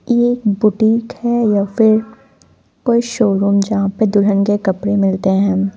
यह एक बुटीक है या फिर कोई शोरूम यहाँ पे दुल्हन के कपड़े मिलते हैं।